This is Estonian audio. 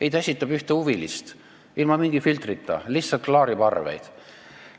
Ei, ta esindab ühte huvitatud poolt, ilma mingi filtrita, lihtsalt klaarib arveid.